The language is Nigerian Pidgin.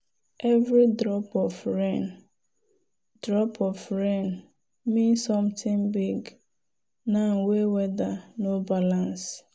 every drop of rain drop of rain mean something big now wey weather no balance.